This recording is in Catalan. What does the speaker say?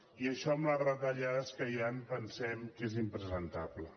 i això amb les retallades que hi ha pensem que és impresentable